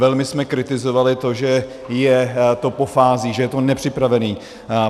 Velmi jsme kritizovali to, že je to po fázích, že je to nepřipravené.